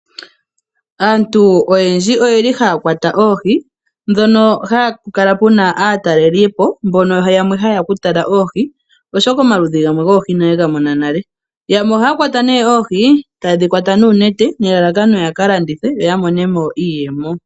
Aantu oyendji ohaya kwata oohi mpono hapu kala pu na aatalelipo mbono yamwe haye ya okutala oohi, oshoka omaludhi gamwe goohi inaye ga mona nale. Yamwe ohaya kwata nduno oohi taye dhi kwata noonete nelalaka ya ka landithe yo ya mone mo iiyemo.